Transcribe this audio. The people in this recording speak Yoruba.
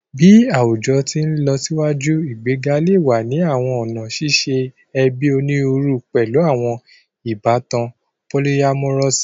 Bi awujọ ti nlọsiwaju, igbega le wa ni awọn ọna ṣiṣe ẹbi oniruuru, pẹlu awọn ibatan polyamorous